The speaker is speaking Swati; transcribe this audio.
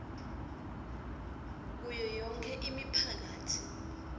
kuyo yonkhe imiphakatsi